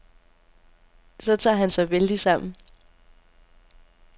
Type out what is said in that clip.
Så tager han sig vældigt sammen.